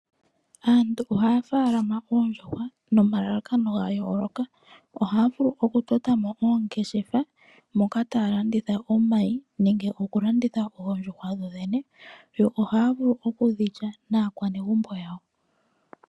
Aantu ohaya munu oondjuhwa nomalalakano ga yooloka. Ohaya vulu okutota mo oongeshefa moka taya landitha omayi nenge okulanditha oondjuhwa dho dhene. Yo ohaya vulu okudhi lya naakwanegumbo yawo.